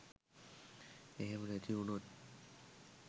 එහෙම නැති උනොත්